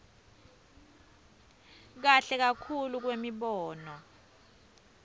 kahle kakhulu kwemibono